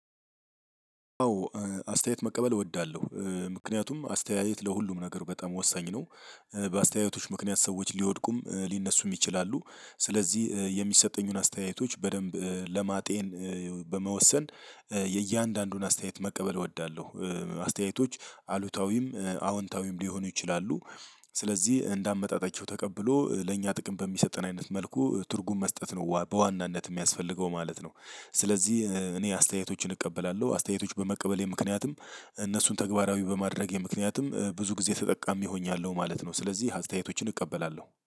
አዎ አስተያየት መቀበል እወዳለሁ ምክንያቱም አስተያየት ለሁሉም ነገር በጣም ወሳኝ ነው። በአስተያየቶች ምክንያት ሰዎች ሊወድቁም ሊነሱም ይችላሉ ስለዚህ የሚሰጠኙን አስተያየቶች በደንብ ለማጤን። በመወሰን የእያንዳንዱን አስተያየት መቀበል እወዳለሁ። አስተያየቶች አሉታዊም አዎንታዊም ሊሆኑ ይችላሉ። ስለዚህ እንደ አመጣጣቸው ተቀብሎ ለእኛ ጥቅም በሚሰጠን አይነት መልኩ ትርጉም መስጠት ነው በዋናነት የሚያስፈልገው ማለት ነው። ስለዚህ እኔ አስተያየቶችን እቀበላለሁ አስተያየቶች በመቀበሌ ምክንያትም እነሱን ተግባራዊ በማድረጌ ምክንያትም ብዙ ጊዜ ተጠቃሚ ሆኛለሁ ማለት ነው። ስለዚህ አስተያየቶችን እቀበላለሁ